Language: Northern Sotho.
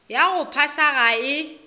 ya go phasa ga e